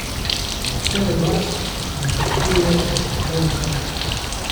Nihče od vas ne pričakuje, da ste popoln starš.